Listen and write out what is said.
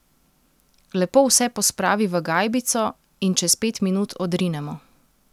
Lepo vse pospravi v gajbico in čez pet minut odrinemo.